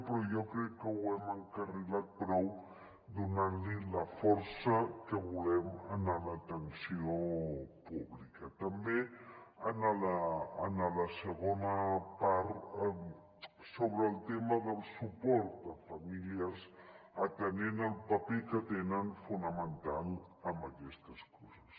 però jo crec que ho hem encarrilat prou donant la força que volem a l’atenció pública també en la segona part sobre el tema del suport a familiars atenent al paper que tenen fonamental en aquestes coses